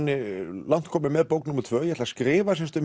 langt kominn með bók tvö ég ætla að skrifa